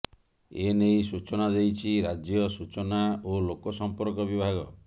ଏ ନେଇ ସୂଚନା ଦେଇଛି ରାଜ୍ୟ ସୂଚନା ଓ ଲୋକ ସମ୍ପର୍କ ବିଭାଗ